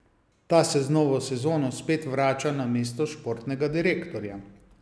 Ta se z novo sezono spet vrača na mesto športnega direktorja.